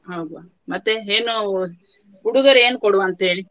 ಹಾ ಮತ್ತೆ ಏನು ಉಡುಗೊರೆ ಕೊಡುವಂತ ಹೇಳಿ?